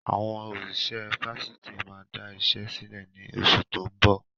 Àwọn òṣìṣẹ́ Fásitì máa da ìṣe sílẹ̀ ni oṣù tó ń bọ̀.